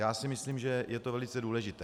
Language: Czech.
Já si myslím, že je to velice důležité.